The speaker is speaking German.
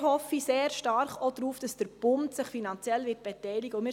Dort hoffe ich sehr stark darauf, dass sich der Bund finanziell beteiligen wird.